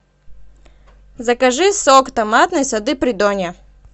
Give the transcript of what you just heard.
закажи сок томатный сады придонья